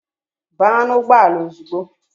Baa n'ugbọala ozugbo!